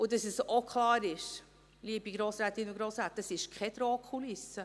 Und dass es auch klar ist, liebe Grossrätinnen und Grossräte: Dies ist keine Drohkulisse.